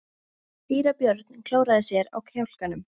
Síra Björn klóraði sér á kjálkanum.